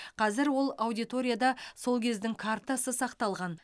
қазір ол аудиторияда сол кездің картасы сақталған